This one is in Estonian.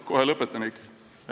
Kohe lõpetan, Eiki.